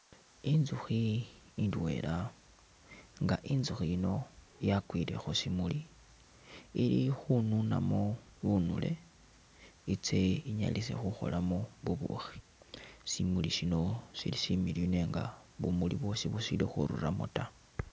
Intsukhi indweela nga intsukhi ino yakwile khushimuuli ili khununamo bunule itse inyalise khukholamo bubushi shimuuli shino shili shimiliyu nenga bumuuli bwosi bushili khururamo taa.